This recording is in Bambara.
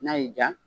N'a y'i diya